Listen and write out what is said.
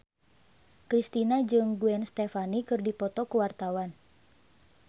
Kristina jeung Gwen Stefani keur dipoto ku wartawan